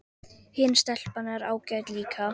Hin stelpan er ágæt líka